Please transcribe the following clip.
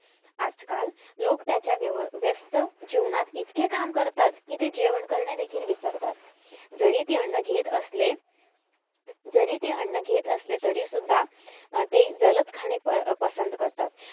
आजकाल लोक त्याच्या व्यस्त जीवनात इतके काम करता कि ते जेवण कारण देखील विसरता जरी ते अन्न घेत असले जरी ते अन्न घेत असले तरी सुद्धा ते जलद खाणे पसंद करता